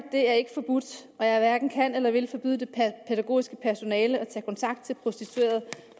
og jeg hverken kan eller vil forbyde det pædagogiske personale at tage kontakt til en prostitueret